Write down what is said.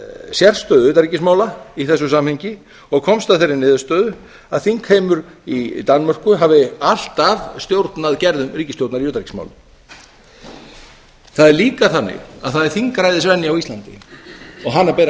sérstöðu utanríkismála í þessu samhengi og komst að þeirri niðurstöðu að þingheimur í danmörku hafi alltaf stjórnað gerðum ríkisstjórnar í utanríkismálum það er líka þannig að það er þingræðisvenja á íslandi og hana ber